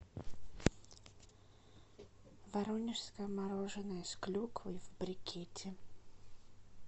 воронежское мороженое с клюквой в брикете